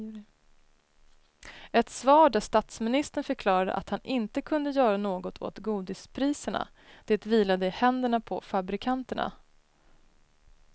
Ett svar där statsministern förklarade att han inte kunde göra något åt godispriserna, det vilade i händerna på fabrikanterna.